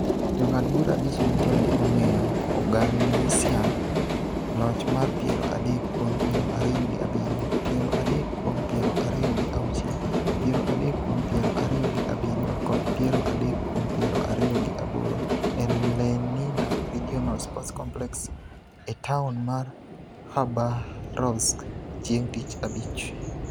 Jong'ad bura abich duto ne omiyo Oganisyan loch mar piero adek kuom piero ariyo gi abiriyo, piero adek kuom piero ariyo gi auchiel, piero adek kuom piero ariyo gi abiriyo kod piero adek kuom piero ariyo gi aboro e Lenina Regional Sports Complex e taon mar Khabarovsk chieng' Tich Abich.